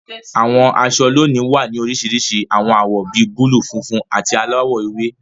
Àwọn aṣọ lónìí wá ní oríṣiríṣi àwọn awọ bí búlúù, funfun, àti aláwọ̀ ewé.